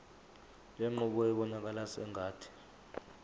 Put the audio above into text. lenqubo ibonakala sengathi